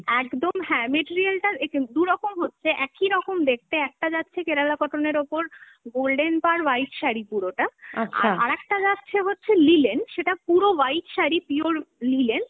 একদম হ্যাঁ, material টা দুরকম হচ্ছে, একই রকম দেখতে, একটা যাচ্ছে Kerala cotton এর ওপর golden পাড় white শাড়ি পুরোটা, আর আরেকটা যাচ্ছে হচ্ছে linen, সেটা পুরো white শাড়ি pure linen,